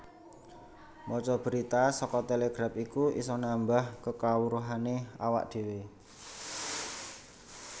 Maca berita saka Telegraph iku iso nambah kekawruhane awak dewe